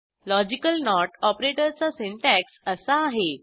logical not ऑपरेटरचा syntax असा आहे